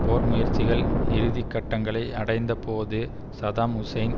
போர் முயற்சிகள் இறுதி கட்டங்களை அடைந்த போது சதாம் ஹுசேன்